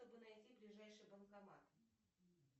чтобы найти ближайший банкомат